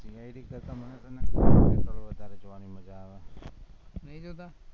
CID કરતા મને વધારે જોવાનું મજા આવે, નઈ જોતા